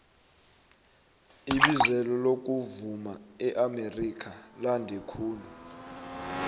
ibizelo lokuvuma eamerika lande kakhulu